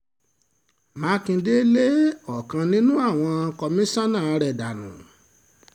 mákindé lé ọ̀kan nínú àwọn kọmíṣánná rẹ̀ dànù